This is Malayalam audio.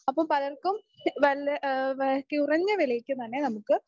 അപ്പൊ പലർക്കും വല്യ ആഹ് കുറഞ്ഞ വിലയ്ക്ക് തന്നെ നമുക്ക്